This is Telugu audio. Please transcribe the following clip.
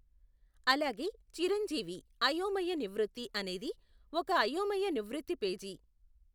అలాగే చిరంజీవి అయోమయ నివృత్తి అనేది ఒక అయోమయ నివృత్తి పేజీ.